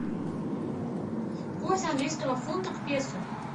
курс английского фунта к песо